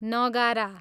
नगारा